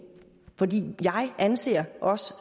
anser os